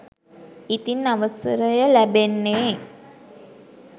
ඉතින් අවසරය ලැබෙන්නේ